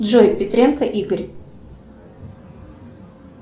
джой петренко игорь